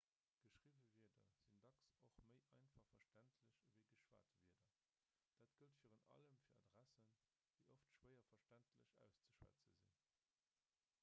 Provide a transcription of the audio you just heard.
geschriwwe wierder sinn dacks och méi einfach verständlech ewéi geschwat wierder dat gëllt virun allem fir adressen déi oft schwéier verständlech auszeschwätze sinn